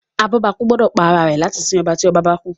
abobaku gbódò pá àrà rẹ láti sìn ọba tí ọba bá kú